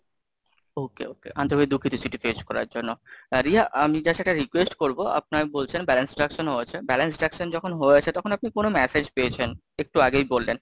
Okay, okay, আন্তরিক ভাবে দুঃখিত চিঠি পেশ করার জন্য, রিয়া আমি just একটা request করবো আপনারা বলছেন balance deduction হয়ছে, balance deduction যখন হয়েছে তখন আপনি কোনো message পেয়েছেন, একটু আগেই বললেন।